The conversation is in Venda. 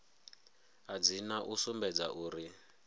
a dzina u sumbedza uri